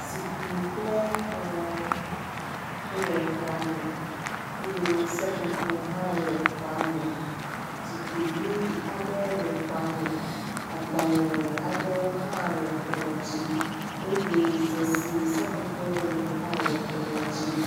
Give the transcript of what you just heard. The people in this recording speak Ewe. Zikpui kple kplɔ̃ wole xɔa me eye seƒoƒo hã le xɔa me. Zikpui vi aɖe le xɔa me. Agbalẽ aɖewo hã le kplɔ̃ dzi eye ze si seƒoƒo le hã le kplɔ̃a dzi.